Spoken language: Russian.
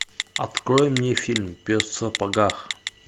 открой мне фильм пес в сапогах